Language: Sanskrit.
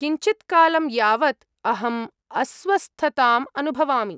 किञ्चित्कालं यावत् अहम् अस्वस्थताम् अनुभवामि।